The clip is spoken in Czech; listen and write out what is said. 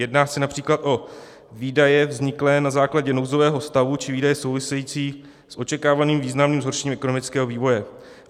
Jedná se například o výdaje vzniklé na základě nouzového stavu či výdaje související s očekávaným významným zhoršením ekonomického vývoje.